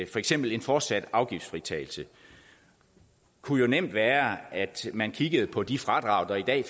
for eksempel en fortsat afgiftsfritagelse kunne nemt være at man kiggede på de fradrag der i dag